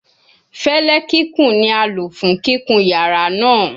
Fẹlẹ kikun ni a lo fun kikun yara naa